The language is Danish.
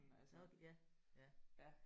Nok ja ja